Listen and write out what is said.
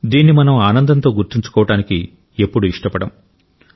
దీన్ని మనం ఆనందంతో గుర్తుంచుకోవడానికి ఎప్పుడూ ఇష్టపడం